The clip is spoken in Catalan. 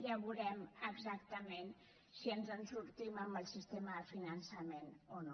ja veurem exactament si ens en sortim amb el sistema de finançament o no